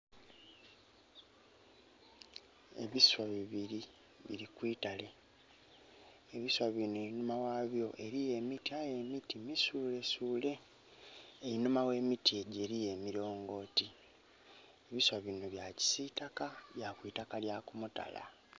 Ebiswa bibiri biri kwitale ebiswa binho einhuma ghabyo eriyo emiti misulesule, einhuma ghe miti egyo eriyo emilongoti. Ebiswa binho bya kisitaka bya kwitaka lya kumutala.